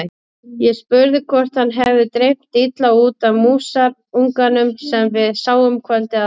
Ég spurði hvort hann hefði dreymt illa út af músarunganum sem við sáum kvöldið áður.